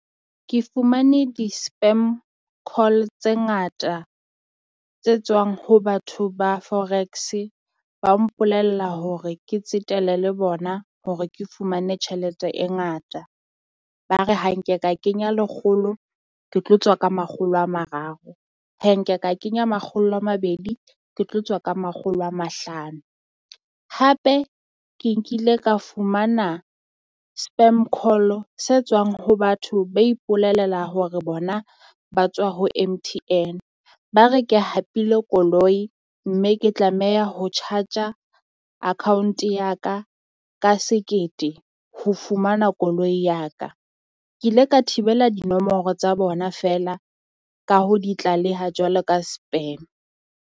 Ke fumane di-spam call tse ngata tse tswang ho batho ba forex-e ba mpolella hore ke tsetela le bona hore ke fumane tjhelete e ngata. Ba re ha nke ka kenya lekgolo, ke tlo tswa ka makgolo a mararo, ha nke ka kenya makgolo a mabedi, ke tlo tswa ka makgolo a mahlano. Hape ke nkile ka fumana spam call se tswang ho batho ba ipololela hore bona ba tswa ho M_T_N, ba re ke hapile koloi mme ke tlameha ho charge-a account ya ka ka sekete ho fumana koloi ya ka, Ke ile ka thibela dinomoro tsa bona feela ka ho di tlaleha jwalo ka spam.